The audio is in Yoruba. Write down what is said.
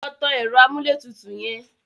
Lọ tan ẹ̀rọ amúlétutù yẹn!